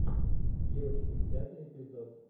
девочки пятый эпизод